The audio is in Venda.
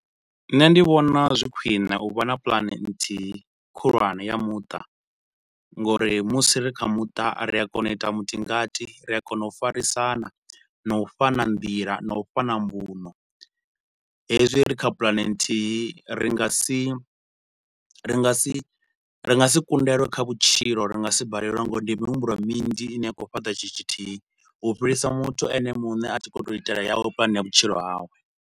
Nṋe ndi vhona zwi khwine u vha na puḽane nthihi khulwane ya muṱa nga uri musi ri kha muṱa ri a kona u ita mutingati, ri a kona u farisana na u fhana nḓila na u fhana mbuno. Hezwi ri kha puḽane nthihi ri nga si, ri nga si ri nga si kundelwe kha vhutshilo ri nga si balelwe nga uri ndi mihumbulo minzhi ine ya khou fhata tshithu tshithihi, u fhirisa muthu ene muṋe a tshi khou tou itela yawe pulane ya vhutshilo hawe.